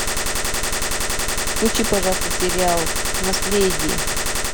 включи пожалуйста сериал наследие